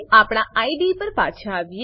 આપણા આઇડીઇ પર પાછા આવીએ